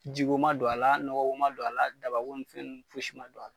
Jigiko ma don a la nɔgɔko ma don a la dabako ni fɛn nuw foyisi ma don a la